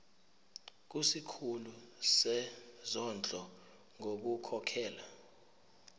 kusikhulu sezondlo ngokukhokhela